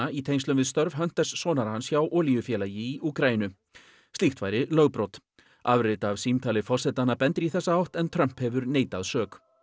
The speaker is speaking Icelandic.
í tengslum við störf sonar hans hjá olíufélagi í Úkraínu slíkt væri lögbrot afrit af símtali forsetanna bendir í þessa átt en Trump hefur neitað sök